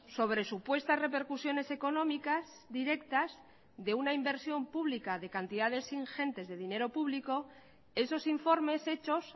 sobre supuestas repercusiones económicas directas de una inversión pública de cantidades ingentes de dinero público esos informes hechos